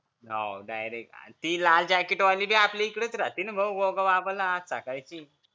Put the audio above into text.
ती लाल jacket वाली बी आपल्याकडेच राहते ना भाऊ